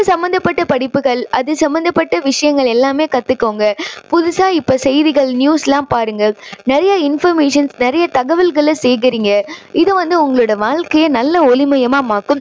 சம்மந்தப்பட்ட படிப்புகள் அது சம்பந்தப்பட்ட விஷயங்கள் எல்லாமே கத்துக்கோங்க. புதுசா இப்போ செய்திகள் news லாம் பாருங்க. நிறைய informations நிறைய தகவல்களை சேகரிங்க. இது வந்து உங்களோட வாழ்க்கையை நல்ல ஒளிமயமா மாத்தும்.